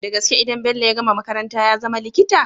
Dagaske idan bello ya gama makaranta yazama likita?